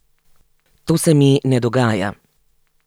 To se mi ne dogaja.